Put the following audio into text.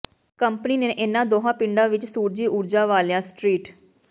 company ਨੇ ਇਨ੍ਹਾਂ ਦੋਹਾਂ ਪਿੰਡਾਂ ਵਿਚ ਸੂਰਜੀ ਊਰਜਾ ਵਾਲੀਆਂ ਸਟਰੀਟ